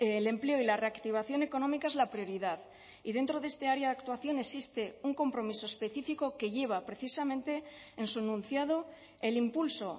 el empleo y la reactivación económica es la prioridad y dentro de este área de actuación existe un compromiso específico que lleva precisamente en su enunciado el impulso